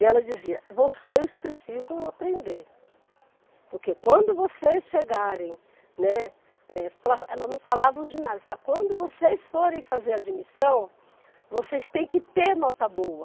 E ela dizia, vocês precisam aprender, porque quando vocês chegarem, né, eh para ela não falava o ginásio, ela falava, quando vocês forem fazer admissão, vocês têm que ter nota boa.